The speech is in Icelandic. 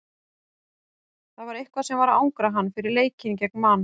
Það var eitthvað sem var að angra hann fyrir leikinn gegn Man.